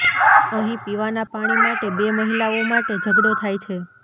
અહીં પીવાના પાણી માટે બે મહિલાઓ માટે ઝઘડો થાય છે